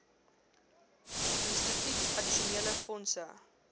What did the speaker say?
instituut addisionele fondse